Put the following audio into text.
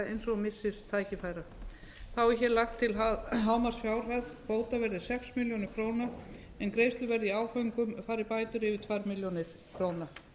eins og missis tækifæra þá er hér lagt til að hámarksfjárhæð bóta verði sex milljónir króna en greiðslur verði í áföngum fari bætur yfir tvær milljónir króna